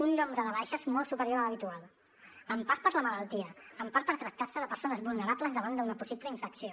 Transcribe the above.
un nombre de baixes molt superior a l’habitual en part per la malaltia en part per tractar se de persones vulnerables davant d’una possible infecció